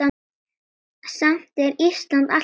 Samt er Ísland alltaf nærri.